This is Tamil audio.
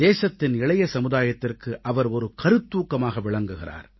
தேசத்தின் இளைய சமுதாயத்திற்கு அவர் ஒரு கருத்தூக்கமாக விளங்குகிறார்